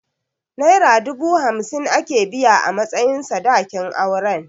Naira dubu hamsin aka biya a matsayin sadakin auren.